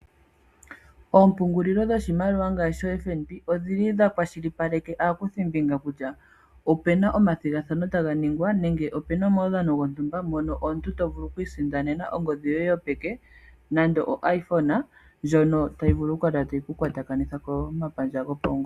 Oompungulilo dhoshimaliwa ngaashi FNB odhili dhakwashilipaleke aakuthimbinga kutya opu na omathigathano taga ningwa nenge opu na omaudhano gontumba mono omuntu to vulu oku isindanena ongodhi yoye yopeke nande o iPhone ndjino tayi kala tayi ku kwatakanitha komapandja gopaungomba .